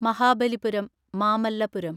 Mahabalipuram (Mamallapuram)